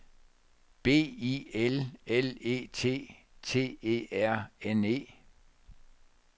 B I L L E T T E R N E